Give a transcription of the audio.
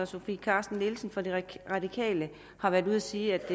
sofie carsten nielsen fra de radikale har været ude at sige